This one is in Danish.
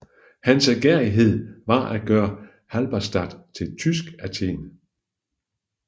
Hans ærgerrighed var at gøre Halberstadt til et tysk Athen